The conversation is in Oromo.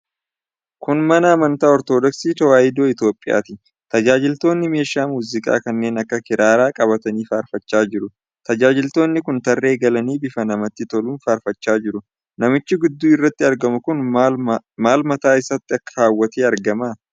Kun mana amantaa Ortodoksii Tewaayidoo Itoophiyaati. Tajaajiltoonni meeshaa muuziqaa kanneen akka kiraaraa qabatanii faarfachaa jiru. Tajaajiltoonni kun tarree galanii bifa namatti toluun faarfachaa jiru. Namichi gidduu irratti argamu kun maal mataa isaatti kaawwatee argama?